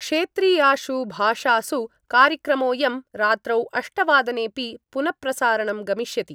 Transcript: क्षेत्रीयाषु भाषासु कार्यक्रमोयं रात्रौ अष्टवादनेपि पुन प्रसारणं गमिष्यति।